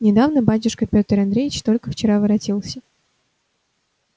недавно батюшка пётр андреич только вчера воротился